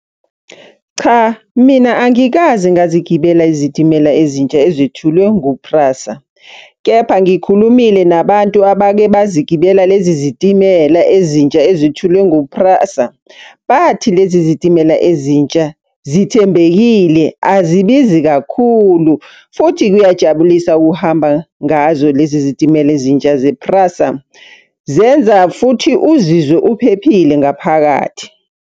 Cha, mina angikaze ngazigibela izitimela ezintsha ezithulwe ngu-Prasa. Kepha ngikhulumile nabantu abake bazigibela lezi zitimela ezintsha ezithulwe ngu-Prasa. Bathi lezi zitimela ezintsha zithembekile azibizi kakhulu, futhi kuyajabulisa ukuhamba ngazo lezi zitimela ezintsha ze-Prasa. Zenza futhi uzizwe uphephile ngaphakathi.